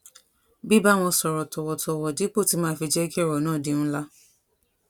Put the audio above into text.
bíbá wọn sòrò tòwòtòwò dípò tí màá fi jé kí òrò náà di ńlá